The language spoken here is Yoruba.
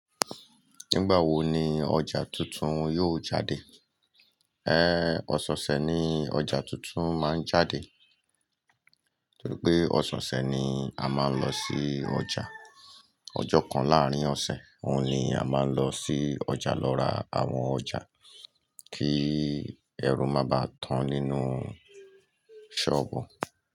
Nígbà wo ni ọjà tuntun yóò jáde? Ẹ Ọ̀sẹ̀ose ni ọjà tuntun máa ń jáde. Nítorí pé ọ̀sẹ̀ ni a máa ń lọ sí ọjà. Ọjọ́ kan láàrín ọ̀sẹ̀, òun ni a máa ń lọ sí ọjà lọ ra àwọn ọjà kí ẹrú má bá tán nínú sọ́ọ̀bù.